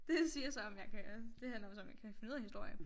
Det siger så om jeg kan det handler jo så om jeg kan finde ud af historie